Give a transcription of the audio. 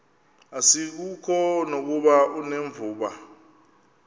asikuko nokuba unevumba